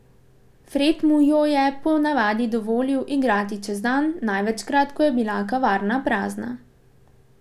Fred mu jo je po navadi dovolil igrati čez dan, največkrat, ko je bila kavarna prazna.